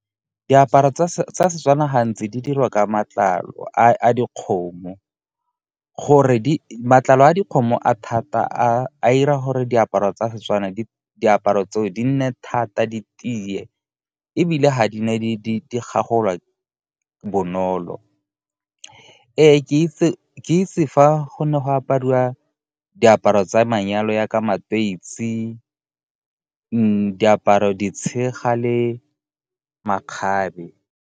Diaparo tsa Setswana gantsi di dirwa ka matlalo a dikgomo. Matlalo a dikgomo a thata a 'ira gore diaparo tsa Setswana diaparo tseo di nne thata di tiye, ebile ga di na di gagolwa bonolo. Ke itse fa go ne go apariwa diaparo tsa manyalo jaka matoisi, diaparo ditshega le makgabe.